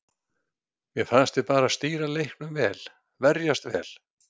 Mér fannst við bara stýra leiknum vel, verjast vel.